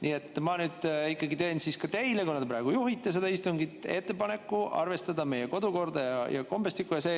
Nii et ma nüüd teen teile, kuna te praegu juhite seda istungit, ettepaneku arvestada meie kodukorda ja kombestikku.